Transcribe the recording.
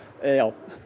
já